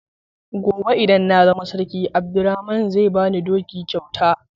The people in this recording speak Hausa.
Gobe idan na zama sarki Abdurrahman zai bani doki kyauta.